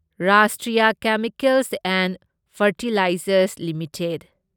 Rashtriya chemicals and fertilizers limited